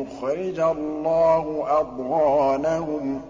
يُخْرِجَ اللَّهُ أَضْغَانَهُمْ